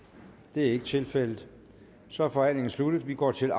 det er ikke tilfældet så er forhandlingen sluttet og vi går til